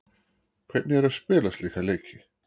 Hvernig er að spila slíka leiki?